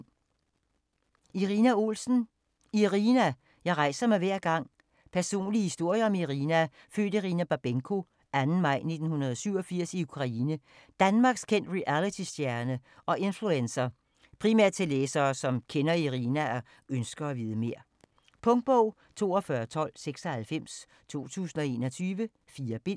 Olsen, Irina: Irina: jeg rejser mig hver gang Personlig historie om Irina, født Irina Babenko 2. maj 1987 i Ukraine, danmarkskendt realitystjerne og influencer. Primært til læsere, som kender Irina og ønsker at vide mere. Punktbog 421296 2021. 4 bind.